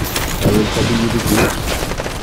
Kawirta pikipikit.